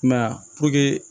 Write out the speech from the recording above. I m'a ye a